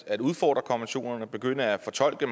at udfordre konventionerne og begynde at fortolke